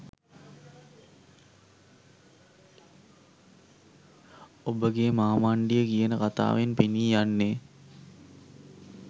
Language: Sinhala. ඔබගේ මාමණ්ඩිය කියන කතාවෙන් පෙනී යන්නේ